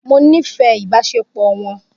Mo nífẹ̀ẹ́ ìbáṣepọ̀ wọn